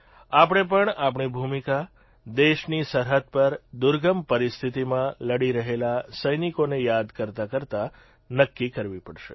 આપણે પણ આપણી ભૂમિકા દેશની સરહદ પર દુર્ગમ પરિસ્થિતીમાં લડી રહેલા સૈનિકોને યાદ કરતાંકરતાં નક્કી કરવી પડશે